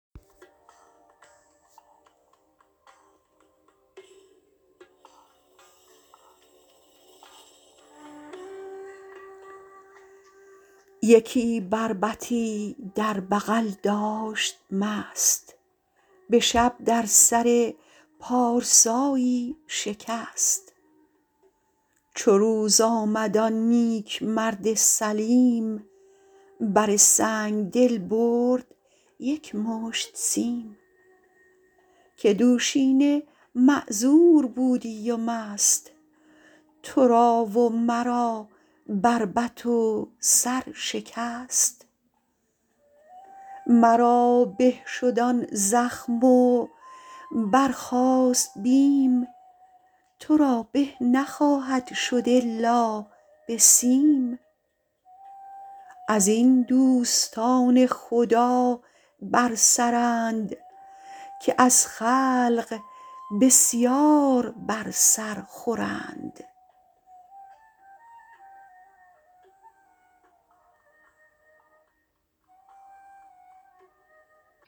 یکی بربطی در بغل داشت مست به شب در سر پارسایی شکست چو روز آمد آن نیک مرد سلیم بر سنگدل برد یک مشت سیم که دوشینه معذور بودی و مست تو را و مرا بربط و سر شکست مرا به شد آن زخم و برخاست بیم تو را به نخواهد شد الا به سیم از این دوستان خدا بر سرند که از خلق بسیار بر سر خورند